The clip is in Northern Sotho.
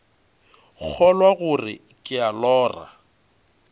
kgolwa gore ke a lora